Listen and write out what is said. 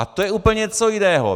A to je úplně něco jiného!